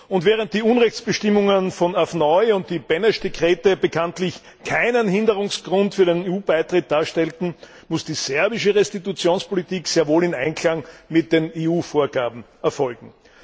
Und während die Unrechtsbestimmungen von AVNOJ und die Beneš Dekrete bekanntlich keinen Hinderungsgrund für den EU Beitritt darstellten, muss die serbische Restitutionspolitik sehr wohl in Einklang mit den EU Vorgaben erfolgen.